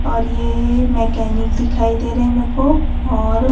और ये मैकेनिक दिखाई दे रहे हैं मेको और--